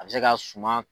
A bɛ se ka suma